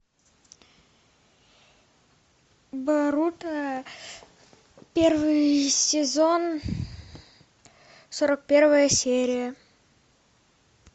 боруто первый сезон сорок первая серия